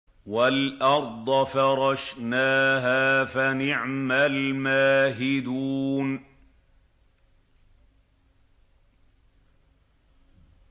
وَالْأَرْضَ فَرَشْنَاهَا فَنِعْمَ الْمَاهِدُونَ